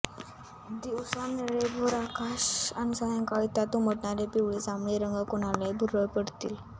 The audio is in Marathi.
दिवसा निळेभोर आकाश आणि सायंकाळी त्यात उमटणारे पिवळे जांभळे रंग कुणालाही भुरळ पडतील